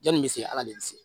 Janni bɛ se ala de se